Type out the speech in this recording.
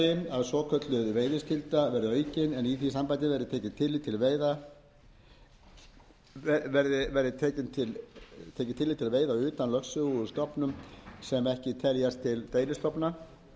fimmta svokölluð veiðiskylda aukin en í því sambandi tekið tillit til veiða utan lögsögu úr stofnum sem ekki teljast til deilistofna sjötta heimild til